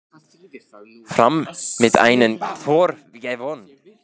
Fram vann með einu marki